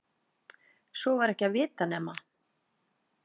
Svo var ekki að vita nema